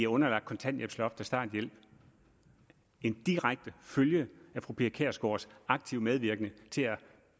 underlagt kontanthjælpsloft og starthjælp en direkte følge af fru pia kjærsgaards aktive medvirken til at